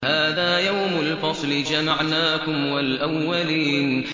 هَٰذَا يَوْمُ الْفَصْلِ ۖ جَمَعْنَاكُمْ وَالْأَوَّلِينَ